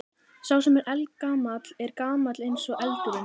Sá sem er eldgamall er gamall eins og eldurinn.